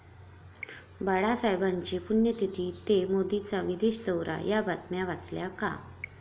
बाळासाहेबांची पुण्यतिथी ते मोदींचा विदेश दौरा, या बातम्या वाचल्या का?